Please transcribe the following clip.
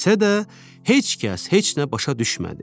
desə də heç kəs heç nə başa düşmədi.